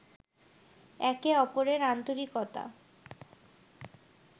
একে অপরের আন্তরিকতা